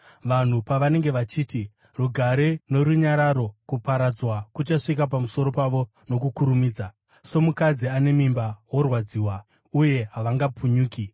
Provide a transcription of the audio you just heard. Vanhu pavanenge vachiti, “Rugare norunyararo,” kuparadzwa kuchasvika pamusoro pavo nokukurumidza, somukadzi ane mimba worwadziwa, uye havangapunyuki.